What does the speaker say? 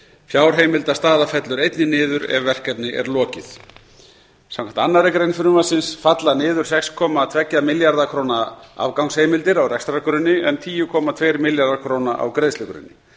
fjárheimildastaða fellur einnig niður ef verkefni er lokið samkvæmt annarri grein frumvarpsins falla niður sex komma tveggja milljarða króna afgangsheimildir á rekstrargrunni en tíu komma tvö milljarðar króna á greiðslugrunni